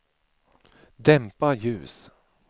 dämpa ljus